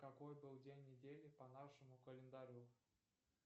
какой был день недели по нашему календарю